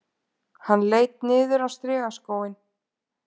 Hann leit niður á strigaskóinn